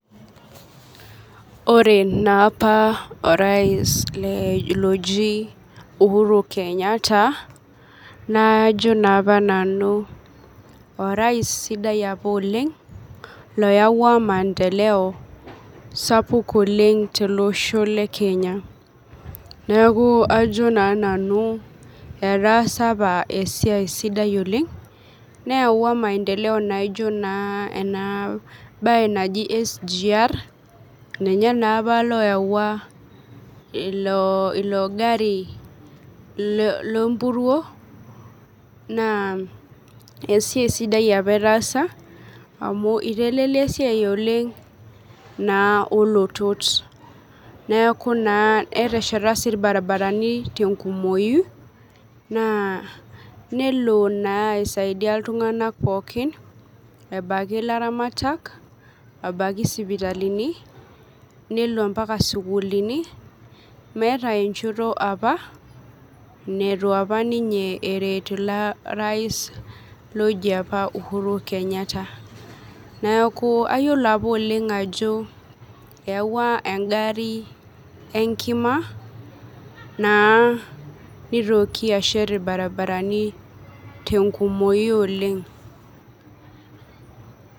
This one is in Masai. Ore naapa orais oji uhuru kenyatta najo naapa nanu orais sidai apa oleng oyawua maendeleo sapuk oleng tolosho lekenya neaku ajo na nanu orais sidai apa oleng neyawua maendeleo nijo na enabae naji sgr[cs[ ninye naapa loyawua ilo gari lenpuruo na esiaia sidai apa etaasa amu itelelia esiai oleng na olotot neaku na netesheta irbaribarani kumok tenkumoi na nelo na aisaidai ltunganak pooki abaki laramatak abaki sitimani nelo mbaka sukulini meeta enchoto apa nitu eret orais oji apa uhuru kenyatta neaku ayiolo oleng ajo eyawua engari enkima naa nitoki ashet irbaribarani tenkumoi oleng.